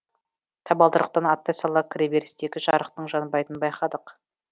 табалдырықтан аттай сала кіреберістегі жарықтың жанбайтынын байқадық